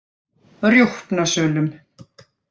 Rjúpnasölum